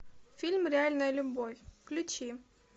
фильм реальная любовь включи